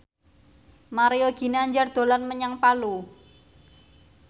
Mario Ginanjar dolan menyang Palu